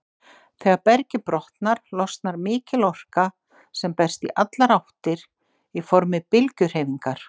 Þegar bergið brotnar, losnar mikil orka sem berst í allar áttir í formi bylgjuhreyfingar.